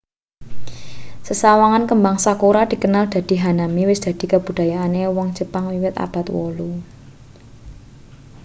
sesawangan kembang sakura dikenal dadi hanami wis dadi kabudayane wong jepang wiwit abad 8